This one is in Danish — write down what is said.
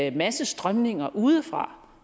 en masse strømninger udefra